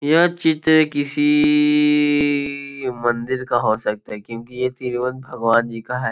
यह चित्र किसी मंदिर का हो सकता है क्योंकि ये तिरुवन भगवान जी का है।